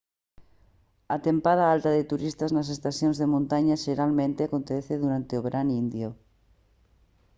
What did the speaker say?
a tempada alta de turistas nas estacións de montaña xeralmente acontece durante o verán indio